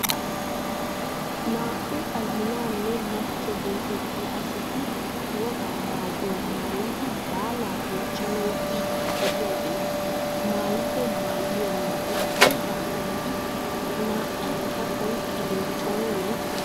Naa"u azinanne machcho getettiyaa asati wogaa maayuwaa maayidi baalaa bonchchanawu biidi de'iyaageeti maayido maayuwaa meray aybaa milatii? Na''aakka oyqqiday oonee?